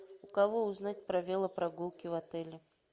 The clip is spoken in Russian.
у кого узнать про велопрогулки в отеле